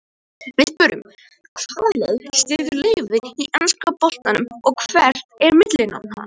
Við spyrjum: Hvaða lið styður Leifur í enska boltanum og hvert er millinafn hans?